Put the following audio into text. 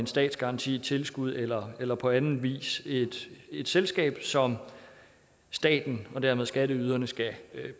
statsgaranti tilskud eller eller på anden vis et selskab som staten og dermed skatteyderne skal